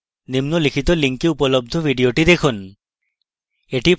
নিম্নলিখিত লিংকএ উপলব্ধ video দেখুন